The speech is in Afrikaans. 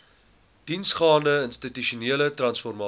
diepgaande institusionele transformasie